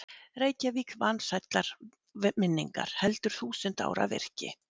Reykjavík vansællar minningar, heldur þúsund ára virki.